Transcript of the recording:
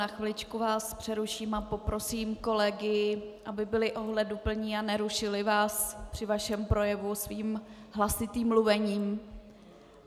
Na chviličku vás přeruším a poprosím kolegy, aby byli ohleduplní a nerušili vás při vašem projevu svým hlasitým mluvením.